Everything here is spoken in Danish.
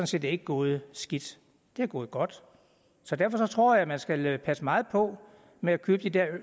set ikke gået skidt det er gået godt så derfor tror jeg at man skal passe meget på med at købe de der